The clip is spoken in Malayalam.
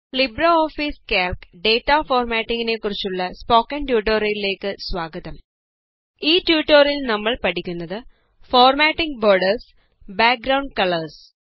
ലിബ്രെഓഫീസ് കാൽക് ഡേറ്റ ഫോർമാറ്റിംഗ് നെ കുറിച്ചുള്ള സ്പോക്കൺ ട്യൂട്ടോറിയലേക്കു സ്വാഗതം ഈ ട്യൂട്ടോറിയലില് നമ്മള് പഠിക്കുന്നത് ഫോര്മാറ്റിംഗ് ബോര്ഡേര്സ് ബാക്ഗ്രൌണ്ട് കളേര്സ്